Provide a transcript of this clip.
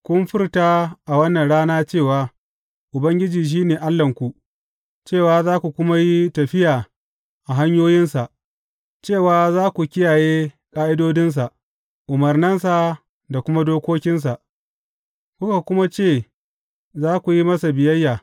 Kun furta a wannan rana cewa Ubangiji shi ne Allahnku, cewa za ku kuma yi tafiya a hanyoyinsa, cewa za ku kiyaye ƙa’idodinsa, umarnansa da kuma dokokinsa, kuka kuma ce za ku yi masa biyayya.